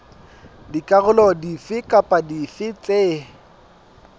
dikarolo dife kapa dife tse